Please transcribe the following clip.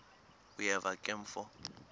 uyeva ke mfo